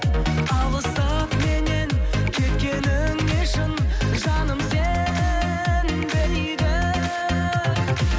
алыстап меннен кеткеніңе шын жаным сенбейді